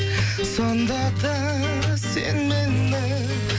сонда да сен мені